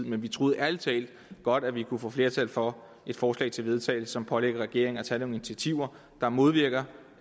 men vi troede ærlig talt godt at vi kunne få flertal for et forslag til vedtagelse som pålægger regeringen at tage nogle initiativer der modvirker